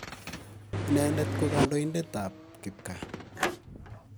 Inendet ko kandoindet ap kipkaa.